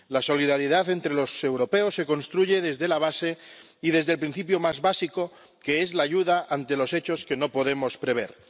La solidaridad entre los europeos se construye desde la base y desde el principio más básico, que es la ayuda ante los hechos que no podemos prever.